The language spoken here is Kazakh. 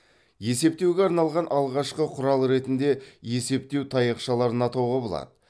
есептеуге арналған алғашқы құрал ретінде есептеу таяқшаларын атауға болады